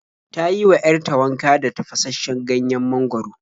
Ta yi wa 'yar ta wanka da tafashasshen ganyen mangwaro.